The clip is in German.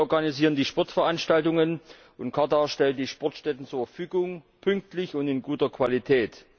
Wir organisieren die Sportveranstaltungen und Katar stellt die Sportstätten zur Verfügung, pünktlich und in guter Qualität.